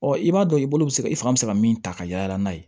Ɔ i b'a dɔn i bolo bɛ se ka i fanga bɛ se ka min ta ka yala n'a ye